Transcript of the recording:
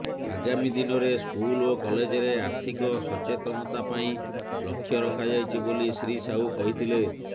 ଆଗାମୀ ଦିନରେ ସ୍କୁଲ ଓ କଲେଜରେ ଆର୍ଥିକ ସଚେତନତା ପାଇଁ ଲକ୍ଷ୍ୟ ରଖାଯାଇଛି ବୋଲି ଶ୍ରୀ ସାହୁ କହିଥିଲେ